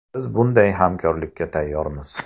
Biz bunday hamkorlikka tayyormiz.